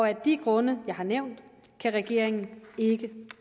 af de grunde jeg har nævnt kan regeringen ikke